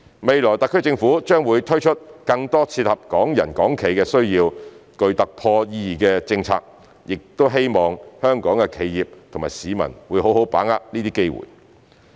未來特區政府將會推出更多切合港人港企需要、具突破意義的政策，我亦希望香港的企業及市民會好好把握這些機會。